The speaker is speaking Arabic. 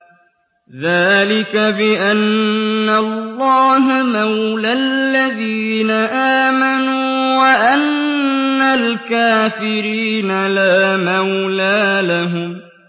ذَٰلِكَ بِأَنَّ اللَّهَ مَوْلَى الَّذِينَ آمَنُوا وَأَنَّ الْكَافِرِينَ لَا مَوْلَىٰ لَهُمْ